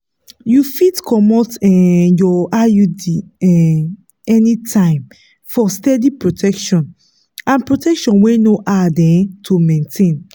you fit comot um your iud um anytime for steady protection and protection wey no hard um to maintain.